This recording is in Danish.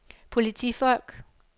politifolk